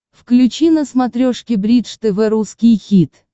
включи на смотрешке бридж тв русский хит